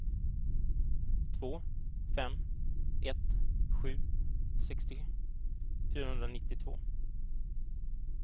två fem ett sju sextio fyrahundranittiotvå